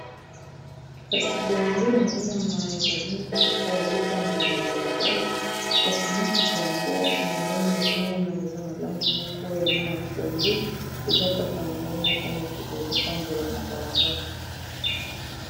Kasi boye nde nazomona ezali mutuka ezo tambola na balabala, kasi na ndenge nazomona eza na langi moko oya mayi ya pondu, eza kaka yango moko mutuka ezo tambola na balabala.